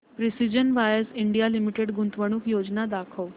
precision wires India limited गुंतवणूक योजना दाखव